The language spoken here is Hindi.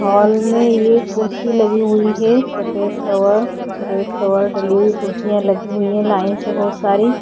हॉल में ये कुर्सी लगी हुई है सफ़ेद कलर और रेड कलर डली हुई कुर्सीयां लगी हुई हैं लाइन से बहौत सारी।